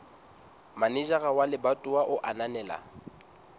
manejara wa lebatowa a ananela